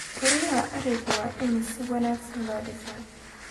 Guryaha arigu waa in si wanaagsan loo dhisaa.